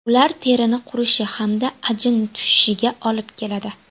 Ular terini qurishi hamda ajin tushishiga olib keladi.